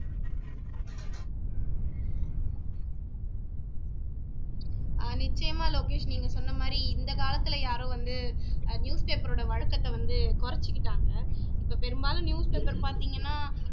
ஆஹ் நிச்சயமா லோகேஷ் நீங்க சொன்ன மாதிரி இந்த காலத்துல யாரும் வந்து அஹ் newspaper ஓட வழக்கத்தை வந்து குறச்சுக்கிட்டாங்க இப்போ பெரும்பாலும் newspaper பாத்தீங்கன்னா